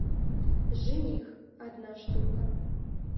жених одна штука